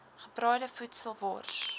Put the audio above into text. gebraaide voedsel wors